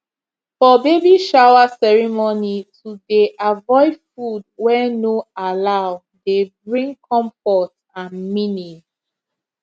for baby shower ceremony to dey avoid food wey no allow dey bring comfort and meaning